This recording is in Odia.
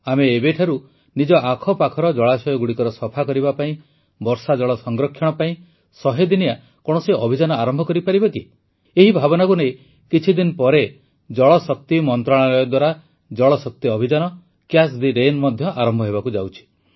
ଆମେ ଏବେଠାରୁ ନିଜ ଆଖପାଖର ଜଳାଶୟଗୁଡ଼ିକର ସଫା କରିବା ପାଇଁ ବର୍ଷାଜଳ ସଂରକ୍ଷଣ ପାଇଁ ୧୦୦ ଦିନିଆ କୌଣସି ଅଭିଯାନ ଆରମ୍ଭ କରିପାରିବା କି ଏହି ଭାବନାକୁ ନେଇ କିଛିଦିନ ପରେ ଜଳଶକ୍ତି ମନ୍ତ୍ରଣାଳୟ ଦ୍ୱାରା ଜଳଶକ୍ତି ଅଭିଯାନ କ୍ୟାଚ୍ ଥେ ରେନ୍ ମଧ୍ୟ ଆରମ୍ଭ ହେବାକୁ ଯାଉଛି